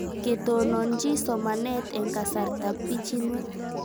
Ketononchi somanet eng' kasartab pichinwek